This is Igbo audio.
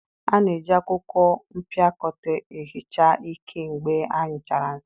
A na-eji akwụkwọ mpịakọta ehicha iké mgbe anyụchara nsị.